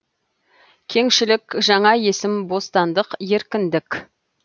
кеңшілік жаңа есім бостандық еркіндік